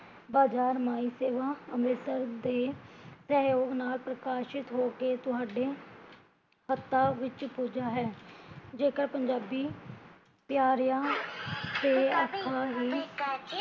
ਬਜ਼ਾਰਮਈ ਸੇਵਾ ਅੰਮ੍ਰਿਤਸਰ ਦੇ ਸਹਯੋਗ ਨਾਲ ਪ੍ਰਕਾਸ਼ਿਤ ਹੋ ਕੇ ਤੁਹਾਡੇ ਹੱਥਾਂ ਵਿੱਚ ਪੂਜਾ ਹੈ ਜੇਕਰ ਪੰਜਾਬੀ ਪਿਆਰਿਆ ਦੇ ਆਖੈ ਹੀਂ